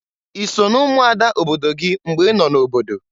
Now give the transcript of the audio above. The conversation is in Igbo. I so na-umuada obodo gị mgbe ị nọ n'obodo?